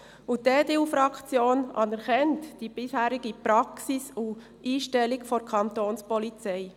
Die EDU-Fraktion anerkennt die bisherige Praxis und Einstellung der Kantonspolizei.